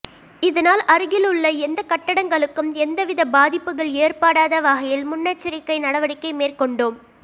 இதனால் அருகில் உள்ள எந்த கட்டடங்களுக்கும் எந்தவித பாதிப்புகள் ஏற்படாத வகையில் முன்னெச்சரிக்கை நடவடிக்கை மேற்கொண்டோம்